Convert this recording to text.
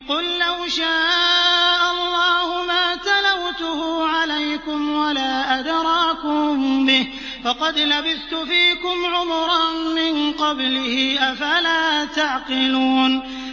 قُل لَّوْ شَاءَ اللَّهُ مَا تَلَوْتُهُ عَلَيْكُمْ وَلَا أَدْرَاكُم بِهِ ۖ فَقَدْ لَبِثْتُ فِيكُمْ عُمُرًا مِّن قَبْلِهِ ۚ أَفَلَا تَعْقِلُونَ